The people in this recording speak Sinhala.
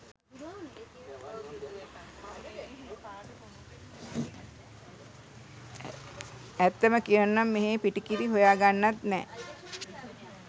ඇත්තම කියනවනම් මෙහෙ පිටි කිරි හොයා ගන්නත් නෑ .